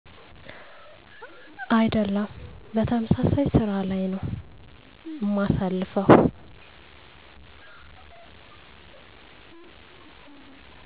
አይደሉም በተመሳሳይ ስራ ላይ ነው እማሳልፈው